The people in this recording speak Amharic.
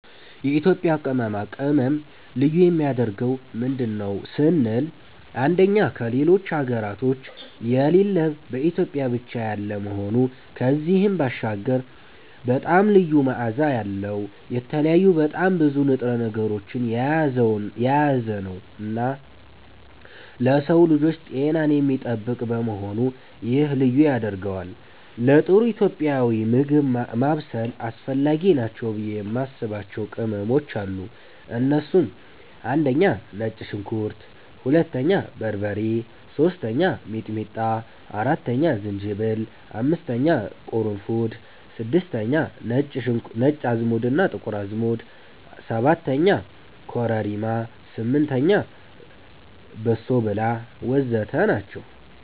የኢትዮጵያ ቅመማ ቅመም ልዩ የሚያደርገው ምንድን ነው ስንል አንደኛ ከሌሎች ሀገራቶች የሌለ በኢትዮጵያ ብቻ ያለ መሆኑ ከዚህም ባሻገር በጣም ልዩ መዓዛ ያለዉ፣ የተለያዩ በጣም ብዙ ንጥረ ነገሮችን የያዘነዉና ለሰዉ ልጆች ጤናን የሚጠብቅ በመሆኑ ይሄ ልዩ ያደርገዋል። ለጥሩ ኢትዮጵያዊ ምግብ ማብሰል አስፈላጊ ናቸው ብዬ የማስባቸዉ ቅመሞች አሉ እነሱም፦ 1)ነጭ ሽንኩርት 2)በርበሬ 3)ሚጥሚጣ 4)ዝንጅብል 5)ቅርንፉድ 6)ነጭ እና ጥቁር አዝሙድ 7)ኮረሪማ 8)በሶብላ ወዘተ ናቸዉ።